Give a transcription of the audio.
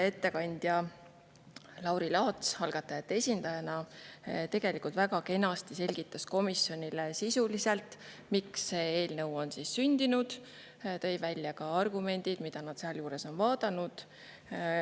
Ettekandja Lauri Laats algatajate esindajana tegelikult väga kenasti selgitas komisjonile sisuliselt, miks see eelnõu on sündinud, tõi välja ka argumendid, mida nad sealjuures on vaadanud.